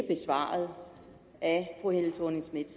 besvaret af fru helle thorning schmidt